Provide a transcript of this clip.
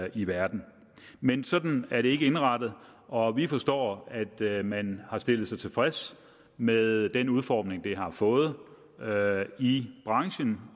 i verden men sådan er det ikke indrettet og vi forstår at man har stillet sig tilfreds med den udformning det har fået i branchen